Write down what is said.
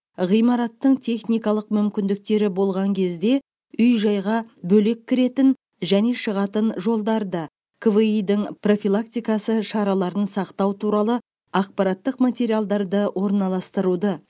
ғимараттың техникалық мүмкіндіктері болған кезде үй жайға бөлек кіретін және шығатын жолдарды кви дің профилактикасы шараларын сақтау туралы ақпараттық материалдарды орналастыруды